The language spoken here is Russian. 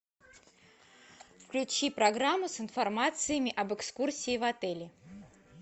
включи программы с информацией об экскурсиях в отеле